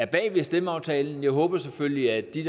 bag stemmeaftalen jeg håber selvfølgelig at de